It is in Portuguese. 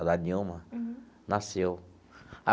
A da Nilma nasceu.